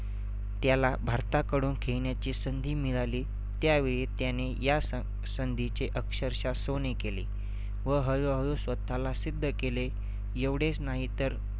त्याला भारताकडून खेळण्याची संधी मिळाली त्यावेळी त्याने या स संधीचे अक्षरशः सोने केले. व हळूहळू स्वतःला सिद्ध केले. एवढेच नाहीतर